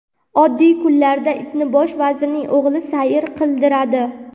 Oddiy kunlarda itni bosh vazirning o‘g‘li sayr qildiradi.